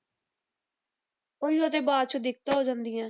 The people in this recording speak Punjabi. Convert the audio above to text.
ਉਹੀਓ ਤੇ ਬਾਅਦ ਚੋਂ ਦਿੱਕਤਾਂ ਹੋ ਜਾਂਦੀਆਂ ਹੈ।